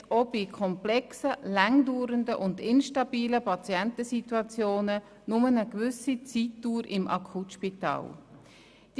Tarife decken auch bei komplexen, lange dauernden und instabilen Patientensituationen nur eine gewisse Zeitdauer im Akutspital ab.